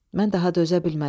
Mən daha dözə bilmədim.